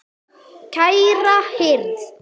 Kæra hirð.